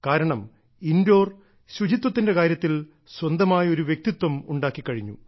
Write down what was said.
കാരണം ഇൻഡോർ ശുചിത്വത്തിന്റെ കാര്യത്തിൽ സ്വന്തമായി ഒരു വ്യക്തിത്വം ഉണ്ടാക്കി കഴിഞ്ഞു